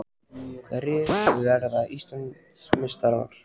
Hverjir verða Íslandsmeistarar?